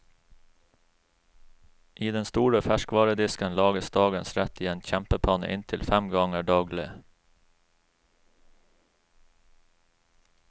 I den store ferskvaredisken lages dagens rett i en kjempepanne inntil fem ganger daglig.